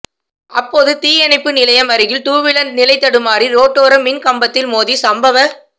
அப்போது தீயணைப்பு நிலையம் அருகில் டூவீலர் நிலைதடுமாறி ரோட்டோர மின் கம்பத்தில் மோதி சம்பவ